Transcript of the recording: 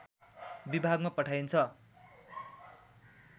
विभागमा पठाइन्छ